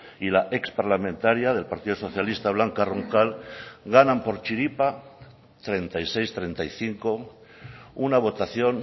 y la exparlamentaria del partido socialista blanca roncal ganan por chiripa treinta y seis treinta y cinco una votación